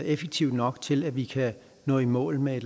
effektiv nok til at vi kan nå i mål med